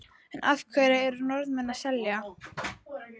En af hverju eru Norðmennirnir að selja?